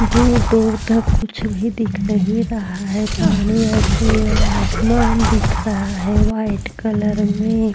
दूर दूर तक कुछ भी दिख नहीं रहा है पानी और फिर आसमान दिख रहा है वाइट कलर में--